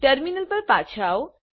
terminal પર પાછા આવો